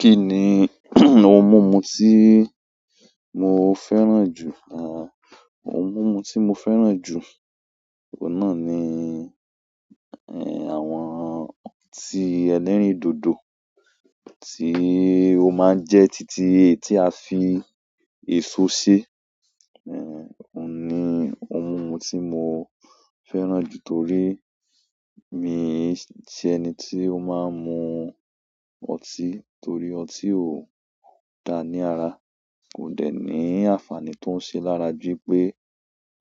Kí ni ohun mímu tí mo fẹ́ràn jù? Àwọn ohun mímu tí mo fẹ́ràn jù, òun náà ni àwọn ọtí ẹlẹ́rìndòdò tí ó máa ń jẹ́ títí e tí a fi èso si. Ó ni ohun mímu tí mo fẹ́ràn jù torí mi ṣe ẹni tí ó máa ń mu ọtí torí ọtí ò da ní ara. Ó dẹ̀ ní àǹfààní tó ń ṣe lára ju wipé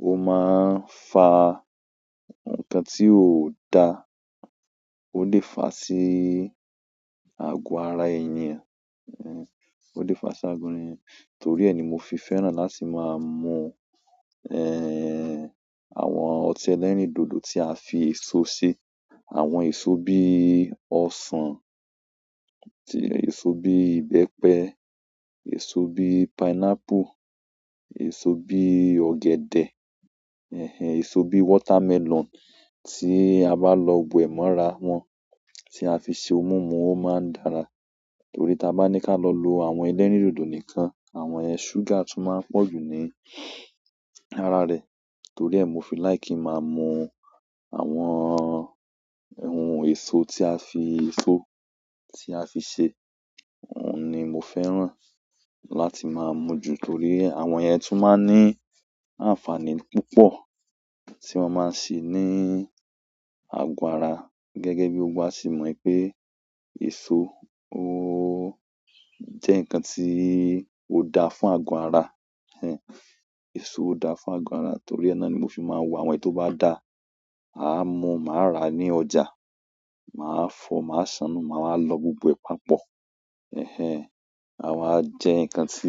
ó máa ń fa ǹkan tí ò da, ó lè fa sí àgọ́ ara ènìyàn, ó lè fa sí agúnrìn. Torí ẹ ni mo fi fẹ́ràn láti máa mu àwọn ọtí ẹlẹ́rìndòdò tí a fi èso ṣe. Àwọn eso bí ọsán èso bí ìbẹ́pẹ, èso bí pineapple, èso bí ọ̀gẹ̀dẹ̀, èso bí watermelon tí a bá lọ gbo ẹ̀ mọ́ra wọn tí a fi ṣe ohun mímu ó máa ń dára. Torí tí a bá ní ká lọ lo àwọn ẹlẹ́rìndòdò nìkan, àwọn ẹ̀ sugar tún máa ń pọ̀ jù ní ara rẹ̀. Torí ẹ mo fi like ki máa mu àwọn ohùn èso tí àfi èso ti afi ṣe, ohùn mó fẹ́ràn láti má mú ju torí ẹ àwọn yẹ tún má ní àǹfààní púpọ̀ tí wọn má ṣe ni agọ ara gẹ́gẹ́ bí gbogbo wá se mọ̀ pé èso ó jẹ́ ǹkan tí ò da fún àgọ́ ara èso ò da fún àgọ́ ara torí ẹ náà ni mo fi máa wo àwọn èyí to bá da, màá mu, màá rà ní ọjà, màá fọ, màá ṣàánù, màá wá lọ gbogbo ẹ papọ̀. A wá jẹ ǹkan tí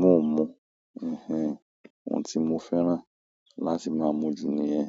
mò ń mu òun tí mo fẹ́ràn láti máa mu jù ni yẹ.